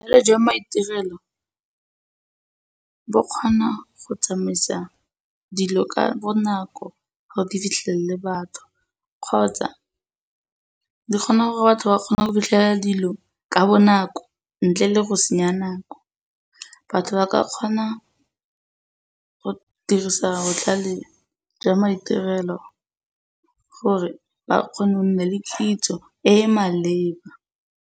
Botlhale jwa maitirelo bo kgona go tsamaisa dilo ka bonako gore di fitlhelele batho kgotsa di kgona gore batho ba kgone go fitlhelela dilo ka nako ntle le go senya nako. Batho ba ka kgona go dirisa botlhale jwa maitirelo gore ba kgone go nna le kitso e e maleba.